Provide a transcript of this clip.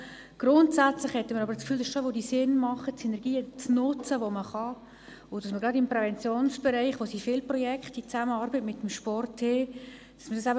Grundsätzlich haben wir aber schon das Gefühl, es wäre sinnvoll, jene Synergien zu nutzen, die man kann, und sie zusammenzufügen, gerade im Präventionsbereich, in dem es viele Projekte in Zusammenarbeit mit dem Sport gibt.